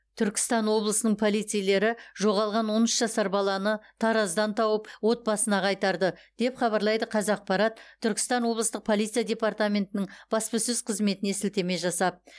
түркістан облысының полицейлері жоғалған он үш жасар баланы тараздан тауып отбасына қайтарды деп хабарлайды қазақпарат түркістан облыстық полиция департаментінің баспасөз қызметіне сілтеме жасап